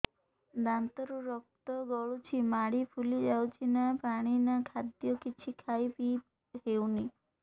ଦାନ୍ତ ରୁ ରକ୍ତ ଗଳୁଛି ମାଢି ଫୁଲି ଯାଉଛି ନା ପାଣି ନା ଖାଦ୍ୟ କିଛି ଖାଇ ପିଇ ହେଉନି